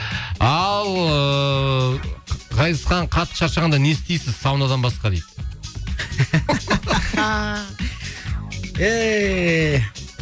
ал ыыы ғазизхан қатты шаршағанда не істейсіз саунадан басқа дейді